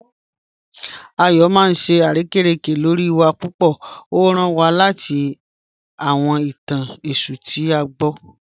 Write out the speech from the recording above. Ayọ maa n ṣe arẹkẹrẹkẹ lọ́ri wa pupọ̀, o rán wá lẹtí àwọn ìtàn Èṣù tí a gbọ̀."